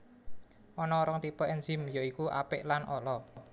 Ana rong tipe ènzim ya iku apik lan ala